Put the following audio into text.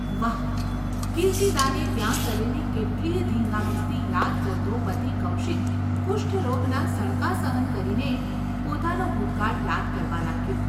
વાહ !’ કીર્તિદાને ત્યાં કરેલી કેટલીયે ધીંગામસ્તી યાદ કરતો પતિ કૌશિક કુષ્ઠરોગના સણકા સહન કરીને ય પોતાનો ભૂતકાળ યાદ કરવા લાગ્યો.